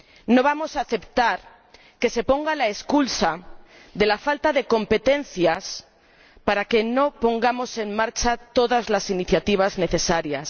No vamos a aceptar que se ponga la excusa de la falta de competencias para no poner en marcha todas las iniciativas necesarias.